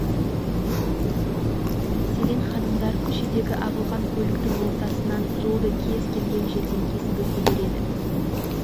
егер ығы-шығы кезек күтіп немесе ұшаққа отырар сәт туса еркектер екі жаққа ығысып орталарынан ханымдар үшін жол аша